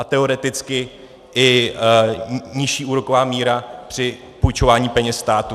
a teoreticky i nižší úroková míra při půjčování peněz státu.